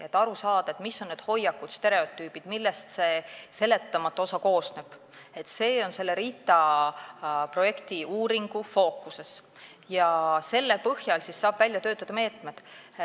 See, et aru saada, mis on need hoiakud ja stereotüübid, millest see seletamatu osa koosneb, on selle RITA uuringu fookuses ja selle põhjal saab välja töötada meetmed.